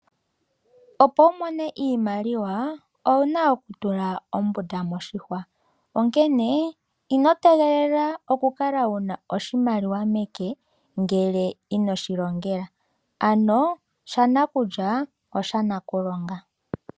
Opo wu mone iimaliwa owuna okutula ombunda moshihwa, onkene ino tegelela okukala wuna oshimaliwa meke ngele ino shi longela, ano shanakulya oshanakulonga.